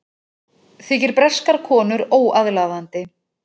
Þykir breskar konur óaðlaðandi